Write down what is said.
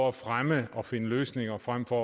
at fremme og finde løsninger frem for